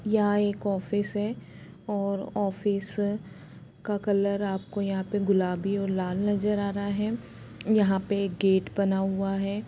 यहां एक ऑफिस है और ऑफिस का कलर आपको यहाँ पर गुलाबी और लाल नजर आ रहा है और यहाँ एक गेट बना हुआ है।